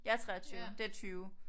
Jeg er 23 det er 20